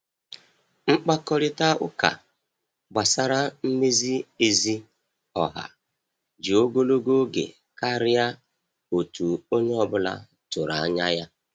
Mkpakorịta ụka gbasara mmezi ezi ọha ji ogologo oge karịa otu onye ọ bụla tụrụ anya ya.